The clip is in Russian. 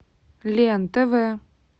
лен тв